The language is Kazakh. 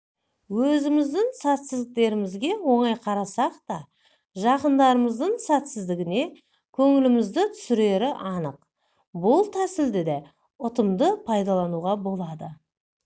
өзіміздің сәтсіздіктерімізге оңай қарасақ та жақынымыздың сәтсіздігі көңілімізді түсірері анық бұл тәсілді де ұтымды пайдалануға болады